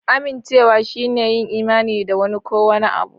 Amincewa shine yin imani da wani ko wani abu.